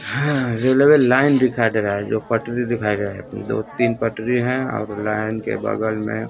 हां railway line दिखाई दे रहा है जो पटरी दिखाए गए दो तीन पटरी और लाइन के बगल में--